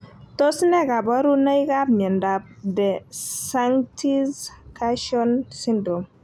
Tos ne kaborunoikab miondop de sanctis cacchione syndrome?